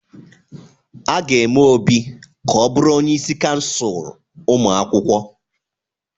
A ga-eme Obi ka ọ bụrụ onye isi kansụl ụmụ akwụkwọ.